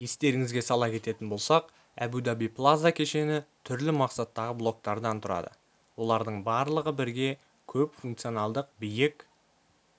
естеріңізге сала кететін болсақ әбу-даби плаза кешені түрлі мақсаттағы блоктардан тұрады олардың барлығы бірге көпфункционалдық биік